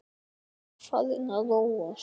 Hann var farinn að róast.